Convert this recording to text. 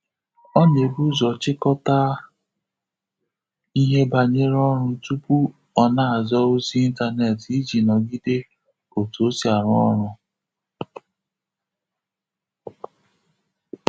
Ọ na ebu ụzọ chikota ihe banyere ọrụ tupu ọ na aza ozi intaneti iji n'ogide otu osi arụ ọrụ